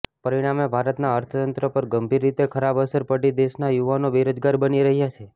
પરિણામે ભારતનાં અર્થતંત્ર પર ગંભીર રીતે ખરાબ અસર પડી દેશના યુવાનો બેરોજગાર બની રહ્યા છે